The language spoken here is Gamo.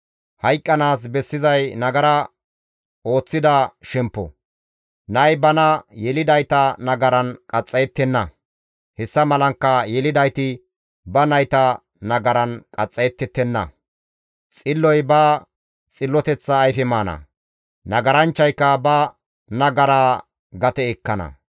Hayqqanaas bessizay nagara ooththida shemppo. Nay bana yelidayta nagaran qaxxayettenna; hessa malankka yelidayti ba nayta nagaran qaxxayettettenna. Xilloy ba xilloteththa ayfe maana; nagaranchchayka ba nagaraa gate ekkana.